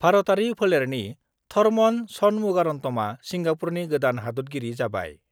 भारतआरि फोलेरनि थरमन षणमुगारन्तमआ सिंगापुरनि गोदान हादतगिरि जाबाय